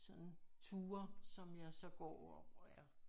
Sådan ture som jeg så går og er